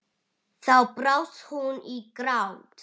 Þá brast hún í grát.